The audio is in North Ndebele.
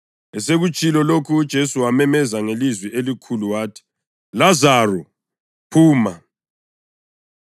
Esekutshilo lokhu uJesu wamemeza ngelizwi elikhulu wathi, “Lazaro, phuma!”